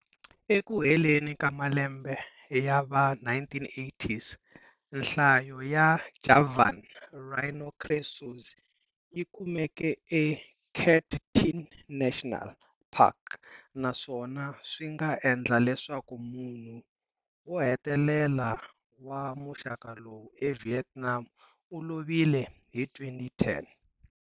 Eku heleni ka malembe yava 1980s, nhlayo ya Javan Rhinoceros yikumeke eCat Tien National Park naswona swinga endleka leswaku munhu wo hetelela wa muxaka lowu eVietnam u lovile hi 2010.